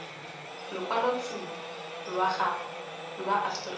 lokwaloitshupu lwa gago lwa aforika